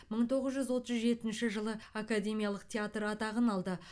мың тоғыз жүз отыз жетінші жылы академиялық театр атағын алды